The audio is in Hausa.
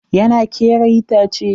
Yana kera itace.